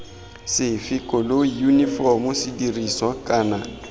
sefe koloi yunifomo sedirisiwa kana